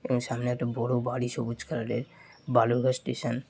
এবং সামনে একটি বড় বাড়ি সবুজ কালারের বালুরঘাট স্টেশন ।